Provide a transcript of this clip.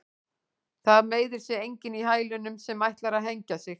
Það meiðir sig enginn í hælunum sem ætlar að hengja sig.